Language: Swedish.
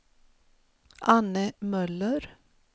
Anne Möller